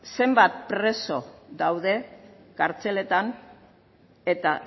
zenbat preso daude kartzeletan eta